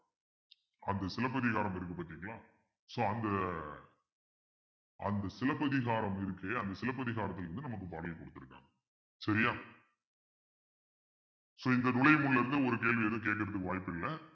அது சிலப்பதிகாரம் இருக்கு பார்த்தீங்களா so அந்த அந்த சிலப்பதிகாரம் இருக்கு அந்த சிலப்பதிகாரத்துல இருந்து நமக்கு பாடல் கொடுத்துருக்காங்க சரியா so இந்த இருந்து ஒரு கேள்வி எதும் கேட்கறதுக்கு வாய்ப்பில்ல